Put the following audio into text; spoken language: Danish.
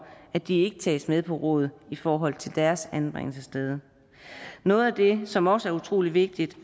at de ikke tages med på råd i forhold til deres anbringelsessted noget af det som også er utrolig vigtigt